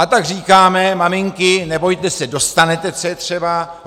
A tak říkáme, maminky, nebojte se, dostanete, co je třeba.